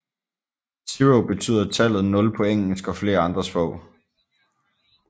Zero betyder tallet 0 på engelsk og flere andre sprog